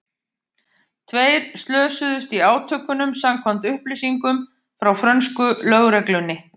Tveir slösuðust í átökunum samkvæmt upplýsingum frá frönsku lögreglunni.